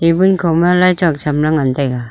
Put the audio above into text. tibun kho ma lai chok tham la ngan taiga.